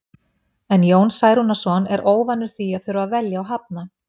En Jón Særúnarson er óvanur því að þurfa að velja og hafna.